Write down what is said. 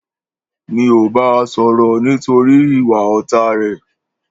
Mi ò bá a sọ̀rọ̀ nítorí ìwà ọ̀tá rẹ̀.